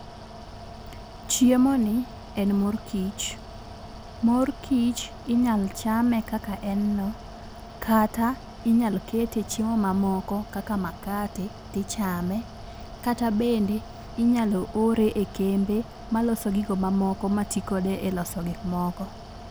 Chiemoni en mor kich. Mor kich inyalo chame kaka en no, kata inyalo kete e chiemo mamoko kaka makate tichame, kata bende inyalo ore e kembe maloso gigo mamoko ma ti kode eloso gik moko.